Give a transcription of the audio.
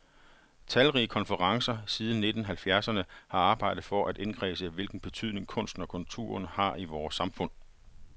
Talrige konferencer siden nitten halvfjerdserne har arbejdet for at indkredse, hvilken betydning kunsten og kulturen har i vore samfund.